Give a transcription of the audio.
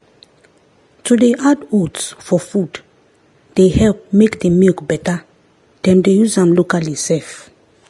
to dey add oats for food dey help make the milk better them dey use am locally sef.